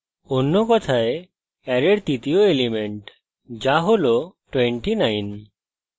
array কথায় অ্যারের তৃতীয় element যা হল 29